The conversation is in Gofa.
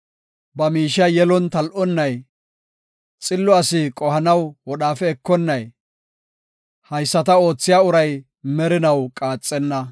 ba miishiya yelon tal7onnay, xillo asi qohanaw wodhaafe ekonnay, haysata oothiya uray merinaw qaaxenna.